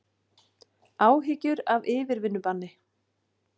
Áhyggjur af yfirvinnubanni